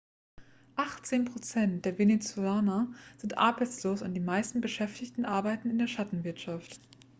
achtzehn prozent der venezolaner sind arbeitslos und die meisten beschäftigten arbeiten in der schattenwirtschaft